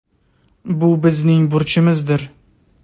Bu bizning burchimizdir.